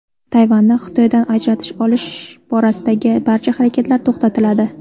Tayvanni Xitoydan ajratish olish borasidagi barcha harakatlar to‘xtatiladi.